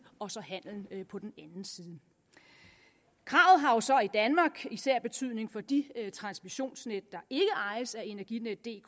og så handelen på den anden side kravet har jo så i danmark især betydning for de transmissionsnet der ikke ejes af energinetdk